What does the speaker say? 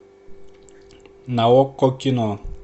на окко кино